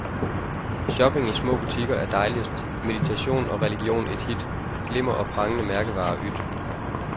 Shopping i små butikker er dejligst, meditation og religion et hit, glimmer og prangende mærkevarer yt.